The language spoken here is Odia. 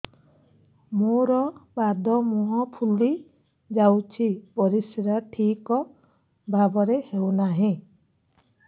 ମୋର ପାଦ ମୁହଁ ଫୁଲି ଯାଉଛି ପରିସ୍ରା ଠିକ୍ ଭାବରେ ହେଉନାହିଁ